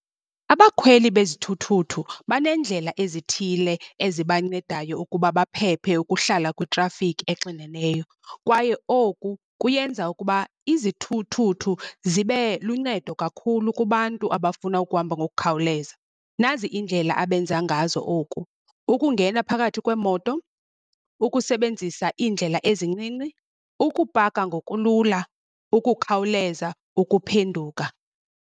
Abakhweli bezithuthuthu banendlela ezithile ezibancedayo ukuba baphephe ukuhlala kwitrafikhi exineneyo, kwaye oku kuyenza ukuba izithuthuthu zibe luncedo kakhulu kubantu abafuna ukuhamba ngokukhawuleza. Nazi iindlela abenza ngazo oku, ukungena phakathi kweemoto, ukusebenzisa iindlela ezincinci, ukupaka ngokulula, ukukhawuleza ukuphenduka.